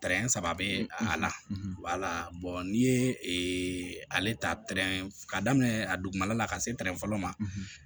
saba bɛ a la n'i ye ale ta pɛrɛn ka daminɛ a dugumana la ka se tɛrɛn fɔlɔ ma